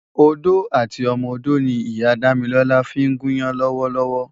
Odó àti ọmọ odó ni Iyá Damola fin gún iyàn lòwòlòwò.